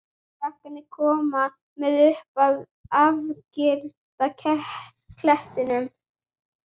Krakkarnir koma með upp að afgirta klettinum.